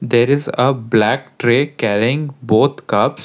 there is uh black tray carrying both cups.